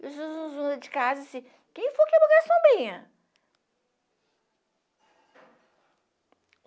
E de casa disseram assim, quem foi que quebrou a sombrinha?